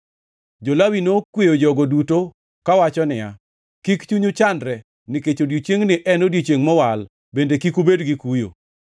Jo-Lawi nokweyo jogo duto kawacho niya, “Kik chunyu chandre, nikech odiechiengni en odiechiengʼ mowal, bende kik ubed gi kuyo.”